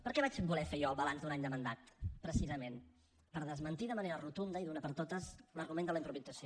per què vaig voler fer jo el balanç d’un any de mandat precisament per desmentir de manera rotunda i d’una vegada per totes l’argument de la improvisació